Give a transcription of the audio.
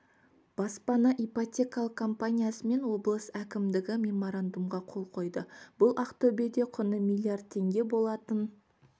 баспана ипотекалық компаниясы мен облыс әкімдігі меморандумға қол қойды бұл ақтөбеде құны миллиард теңге болатын